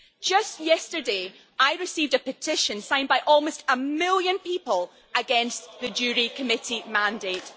Just yesterday I received a petition signed by almost a million people against the JURI Committee mandate.